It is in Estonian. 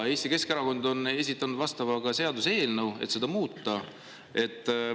Eesti Keskerakond on esitanud vastava seaduseelnõu, et seda muuta.